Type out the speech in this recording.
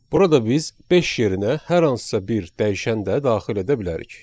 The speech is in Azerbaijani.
Burada biz beş yerinə hər hansısa bir dəyişən də daxil edə bilərik.